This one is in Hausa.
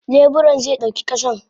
Leburan ze dauki kasan.